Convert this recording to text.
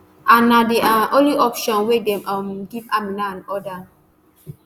aun na di um only option wey dem um give amina and oda